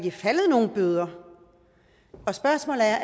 er faldet nogen bøder spørgsmålet er